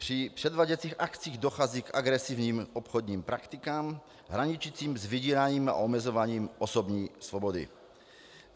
Při převáděcích akcích dochází k agresivním obchodním praktikám, hraničícím s vydíráním a omezováním osobní svobody.